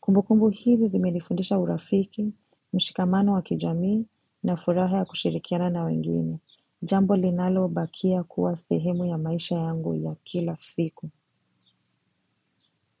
Kumbukumbu hizi zimenifundisha urafiki, mshikamano wa kijamii na furaha ya kushirikiana na wengine. Jambo linalobakia kuwa sehemu ya maisha yangu ya kila siku.